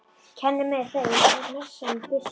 Kenni þeim að messa með byssu?